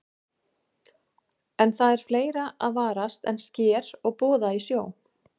En það er fleira að varast en sker og boða í sjó.